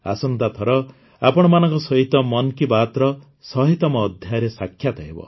ଆସନ୍ତାଥର ଆପଣମାନଙ୍କ ସହିତ ମନ୍ କି ବାତ୍ର ଶହେତମ ଅଧ୍ୟାୟରେ ସାକ୍ଷାତ ହେବ